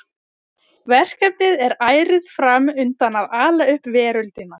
Verkefnið er ærið fram undan að ala upp veröldina.